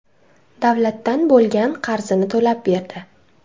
davlatdan bo‘lgan qarzini to‘lab berdi.